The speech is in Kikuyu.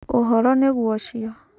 ũhoro nĩguo ũcio.